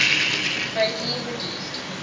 greatly reduced